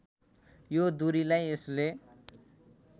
यो दूरीलाई यसले